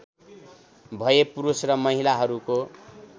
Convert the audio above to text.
भए पुरुष र महिलाहरूको